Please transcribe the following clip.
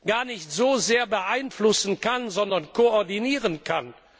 gar nicht so sehr beeinflussen, sondern nur koordinieren kann.